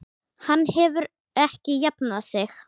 Hann hefur ekki jafnað sig.